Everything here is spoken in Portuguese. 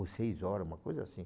Ou seis horas, uma coisa assim.